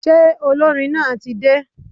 Ṣé olórin náà tí dé?